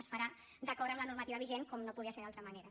es farà d’acord amb la normativa vigent com no podia ser d’altra manera